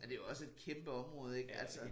Og det jo også et kæmpe område ikke altså